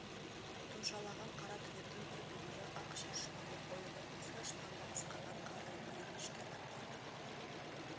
тұмшалаған қара түнектің бір бүйірі ақ шаршыланып ойылып есік ашылғанда ысқырған қарлы құйын ішке лап қойды